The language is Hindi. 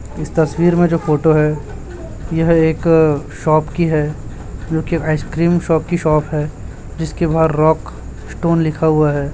इस तस्वीर में जो फोटो है यह एक शॉप की है जोकि आइसक्रीम शॉप की शॉप है जिसके बाहर रॉक स्टोन लिखा हुआ है।